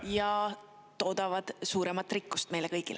… ja toodavad suuremat rikkust meile kõigile.